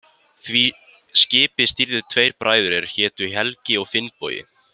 Því skipi stýrðu tveir bræður er hétu Helgi og Finnbogi.